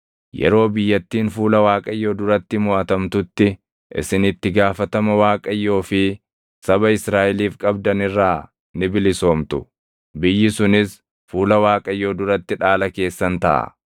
yeroo biyyattiin fuula Waaqayyoo duratti moʼatamtutti isin itti gaafatama Waaqayyoo fi saba Israaʼeliif qabdan irraa ni bilisoomtu. Biyyi sunis fuula Waaqayyoo duratti dhaala keessan taʼa.